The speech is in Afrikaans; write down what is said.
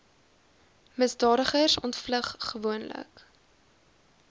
misdadigers ontvlug gewoonlik